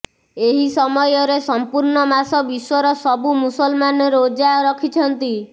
ଏହି ସମୟରେ ସମ୍ପୂର୍ଣ୍ଣ ମାସ ବିଶ୍ୱର ସବୁ ମୁସଲମାନ ରୋଜା ରଖନ୍ତି